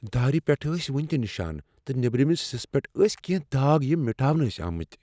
دارِ پیٹھ ٲسۍ ؤنِہ تِہ نشان، تہٕ نیبرِمِس حصس پیٹھ ٲسۍ کینٛہہ داغ یِم مٹاونہ ٲسۍ آمتۍ۔